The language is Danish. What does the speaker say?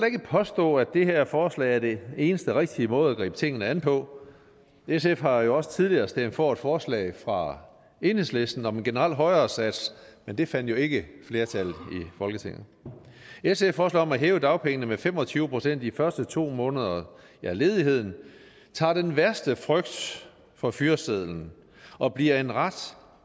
ikke påstå at det her forslag er den eneste rigtige måde at gribe tingene an på sf har jo også tidligere stemt for et forslag fra enhedslisten om en generel højere sats men det fandt jo ikke flertal i folketinget sfs forslag om at hæve dagpengene med fem og tyve procent i de første to måneder af ledigheden tager den værste frygt for fyresedlen og bliver en ret